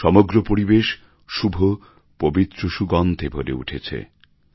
সমগ্র পরিবেশ শুভ পবিত্র সুগন্ধে ভরে উঠেছে